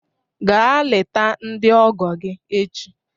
Gaa leta ndị ọgọ gị echi